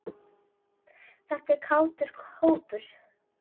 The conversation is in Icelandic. Þetta er kátur hópur.